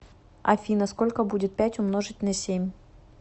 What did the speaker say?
афина сколько будет пять умножить на семь